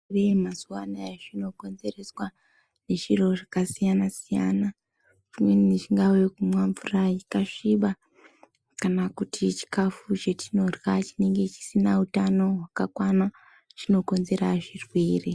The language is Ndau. Mazuwa anaya zvino konzereswa nezviro zvakasiyana-siyana pamweni kungave kumwa mvura yakasvipa kana kuti chikafu chetinorya chinenge chisina utano hwakakwana, chinokonzera zvirwere.